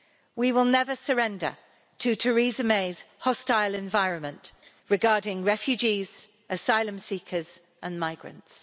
We will never surrender to Theresa May's hostile environment regarding refugees, asylum seekers and migrants.